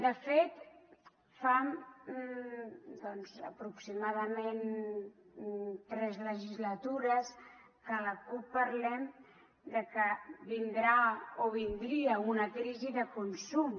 de fet fa doncs aproximadament tres legislatures que la cup parlem que vindrà o vindria una crisi de consum